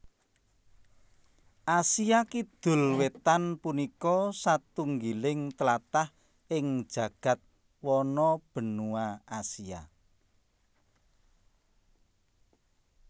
Asia Kidul Wétan punika satunggiling tlatah ing jagad wano benua Asia